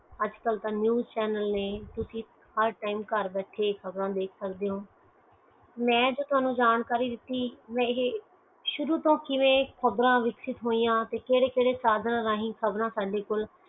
ਅਜੇ ਕਲ ਤਾ ਚੀਜ਼ ਚੈਨਲ ਨੈ ਗਰ ਬੈਠੇ ਤੁਹਾਨੂੰ ਖ਼ਬਰਆ ਦੱਸਦੀ ਆ ਹੈ ਮਈ ਤੁਹਾਨੂੰ ਜੋ ਜਾਣਕਾਰੀ ਇਹ ਸ਼ੁਰੂ ਤੋਂ ਹੀ ਖ਼ਬਰ ਵਿਸਤਿਤ ਹੋਇਆਂ ਅਤੇ ਖ਼ਬਰ ਫੈਲੀਆਂ